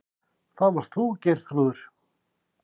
Það varst þú, Geirþrúður.